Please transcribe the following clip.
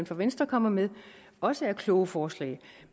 for venstre kommer med også er kloge forslag